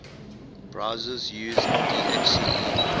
browsers use dhcp